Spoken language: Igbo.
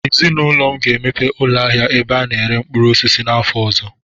Ezinaụlọ m ga-emepe ụlọ ahịa ebe a na-ere mkpụrụ osisi afọ ọzọ.